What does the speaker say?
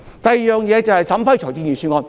第二，審批財政預算案。